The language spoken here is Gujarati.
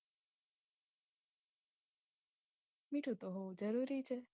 મીઠું તો હોવું જરૂરી છે.